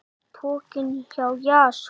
Pokinn hjá Jason